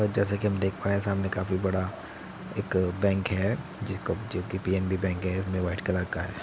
जैसा कि हम देख पा रहै है सामने काफी बड़ा एक बेंक है जेको जोकि पीएनबी बैंक है व्हाइट कलर का है।